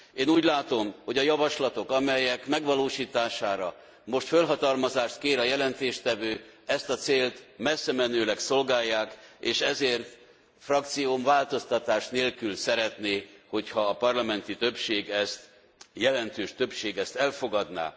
Én úgy látom, hogy a javaslatok, amelyek megvalósítására most fölhatalmazást kér a jelentéstevő, ezt a célt messzemenőleg szolgálják és ezért frakcióm változtatás nélkül szeretné, hogyha a parlamenti többség ezt, jelentős többség ezt elfogadná.